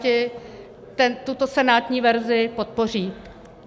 Piráti tuto senátní verzi podpoří.